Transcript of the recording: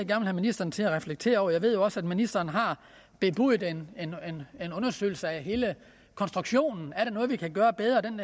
have ministeren til at reflektere over jeg ved jo også at ministeren har bebudet en undersøgelse af hele konstruktionen er der noget vi kan gøre bedre den